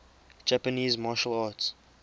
japanese martial arts